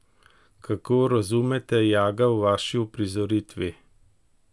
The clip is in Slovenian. Kako razumete Jaga v vaši uprizoritvi?